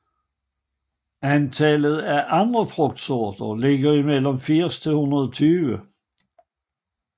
Antallet af andre frugtsorter ligger mellem 80 og 120